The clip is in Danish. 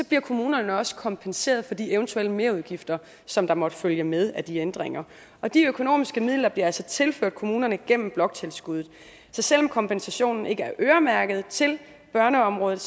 bliver kommunerne også kompenseret for de eventuelle merudgifter som der måtte følge med de ændringer og de økonomiske midler bliver altså tilført kommunerne gennem bloktilskuddet så selv om kompensationen ikke er øremærket til børneområdet